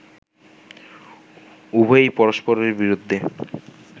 উভয়েই পরস্পরের বিরুদ্ধে